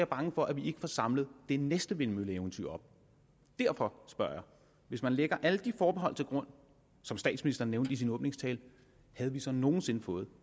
bange for at vi ikke får samlet det næste vindmølleeventyr op derfor spørger jeg hvis man lægger alle de forbehold til grund som statsministeren nævnte i sin åbningstale havde vi så nogen sinde fået